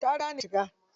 Ta riga ni shiga ciki.